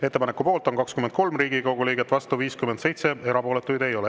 Ettepaneku poolt on 23 Riigikogu liiget, vastu 57, erapooletuid ei ole.